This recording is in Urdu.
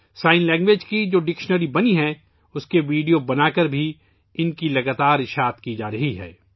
اشاروں کی زبان کی ، جو لغت بنی ہے ، اس کی ویڈیوز بنا کر اسے مسلسل پھیلایا جا رہا ہے